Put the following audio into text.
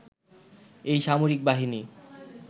এই সামরিক বাহিনী